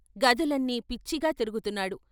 గదులన్నీ పిచ్చిగా తిరుగు తున్నాడు.